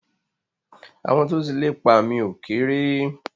Àwọn tó ti lépa mi ò kérè.